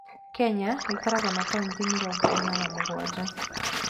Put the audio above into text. Kenya ĩkoragwo na kauntĩ mĩrongo ĩna na mũgwanja.